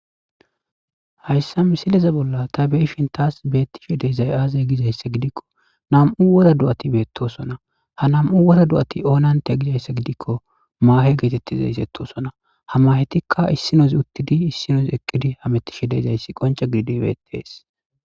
hayssa misileze bolla ta beishin taas beettishe deezay aaze gizayssa gidikko nam7u wora do7ati beettosona ha nam7u wora do7ati oonante gizayssa gidikko maahe geetettizays ettosona ha mahetikka issinozi uttidi issinoz eqqidi hamettishe deezayssi qonca gididibeetees